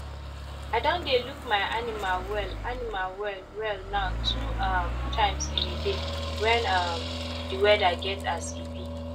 i don dey look my animal well animal well well now two um times in a day when um the weather get as e be